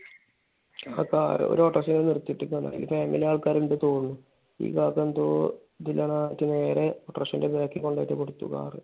അതിപ്പോ ഒരു ഓട്ടർഷ ഇങ്ങനെ നിർത്തി ഇട്ടെക്കായിരുന്നു. അതുമ്മേൽ ആൾക്കാർ ഇണ്ടായിരുന്നൂന്ന് തോന്നണു. ഈ കാക്ക എന്തോ അതിന്റെ നേരെ ഓട്ടർഷെൻറെ back ൽ കൊണ്ടുപോയിട്ട് കൊടുത്തു.